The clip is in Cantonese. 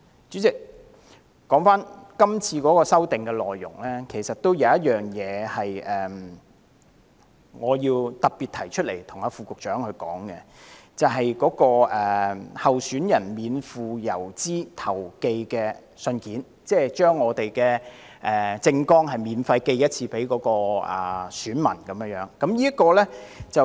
主席，說回今次條例草案的修訂內容，我對其中一項有些意見，希望特別向副局長提出，就是關於候選人免付郵資投寄的信件，即是讓候選人免費向選民寄出政綱一次。